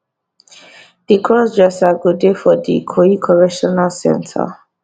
di crossdresser go dey for di ikoyi correctional centre